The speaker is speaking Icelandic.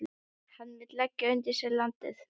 Hann vill leggja undir sig landið.